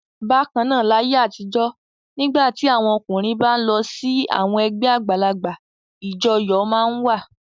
Bákan náà, láyé àtijọ́ nígbà tí àwọn ọkùnrin bá ń lọ sí àwọn ẹgbẹ́ àgbàlagbà ìjọyọ̀ máa ń wà.